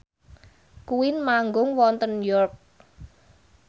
Queen manggung wonten York